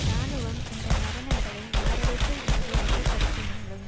இராணுவம் இந்த மரணங்களை மாரடைப்பு என்று வகைப்படுத்தினலும்